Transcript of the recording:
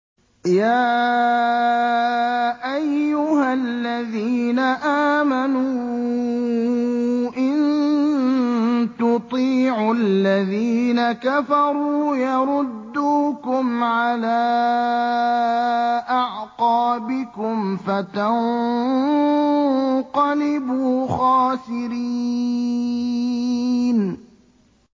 يَا أَيُّهَا الَّذِينَ آمَنُوا إِن تُطِيعُوا الَّذِينَ كَفَرُوا يَرُدُّوكُمْ عَلَىٰ أَعْقَابِكُمْ فَتَنقَلِبُوا خَاسِرِينَ